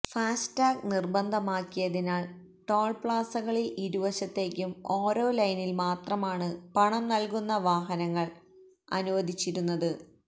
FASTag നിർബന്ധമാക്കിയതിനാൽ toll പ്ലാസകളിൽ ഇരുവശത്തേക്കും ഓരോ ലെയ്നിൽ മാത്രമാണ് പണം നൽകുന്ന വാഹനങ്ങൾ അനുവദിച്ചിരുന്നത്